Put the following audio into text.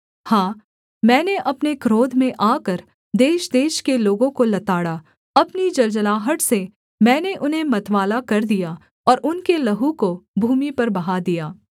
हाँ मैंने अपने क्रोध में आकर देशदेश के लोगों को लताड़ा अपनी जलजलाहट से मैंने उन्हें मतवाला कर दिया और उनके लहू को भूमि पर बहा दिया